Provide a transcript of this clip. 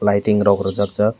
lighting rok re jak jak.